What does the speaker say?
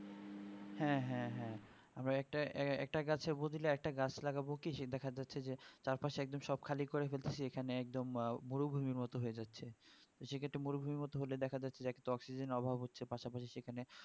হ্যা হ্যা হ্যা আমরা একটা একটা গাছে এর বদলে একটা গাছ লাগাবো কি সে দেখা যাচ্ছে যে চার পাশে একদম সব খালি করছে ফেলতাছে এখানে একদম আহ মরুভুমি মতো হয়ে যাচ্ছে সেই ক্ষেতে তো মরুভুমি হতে হলের দেখা যাচ্ছে এত অক্সিজেন অভাব হচ্ছে পাশাপাশি সেখানে